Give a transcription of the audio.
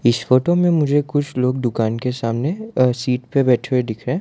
इस फोटो में मुझे कुछ लोग दुकान के सामने अ सीट पे बैठे हुए दिख रहें।